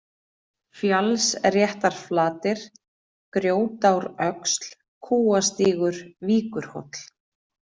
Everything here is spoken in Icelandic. Fjallsréttarflatir, Grjótáröxl, Kúastígur, Víkurhóll